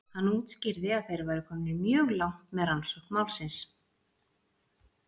Hann útskýrði að þeir væru komnir mjög langt með rannsókn málsins.